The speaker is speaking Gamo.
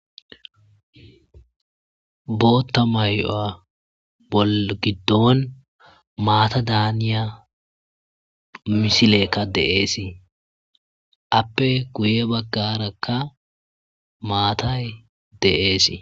Bootha mayuwa gidon maata daniya misileyka de'es, aape guye bagraka maatay de'es